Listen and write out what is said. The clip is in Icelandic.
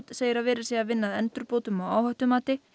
segir að verið sé að vinna að endurbótum á áhættumati